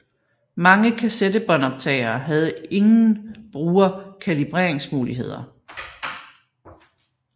Mange kassettebåndoptagere havde ingen bruger kalibreringsmuligheder